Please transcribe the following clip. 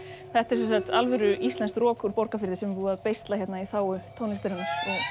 þetta er sem sagt alvöru íslenskt rok úr Borgarfirði sem er búið að beisla hérna í þágu tónlistarinnar